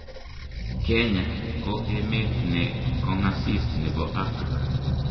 kenya ko emet ne kong'asis ne bo Afrika.